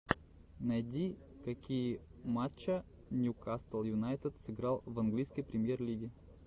найди какие матча ньюкасл юнайтед сыграл в английской премьер лиги